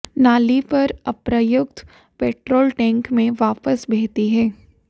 नाली पर अप्रयुक्त पेट्रोल टैंक में वापस बहती है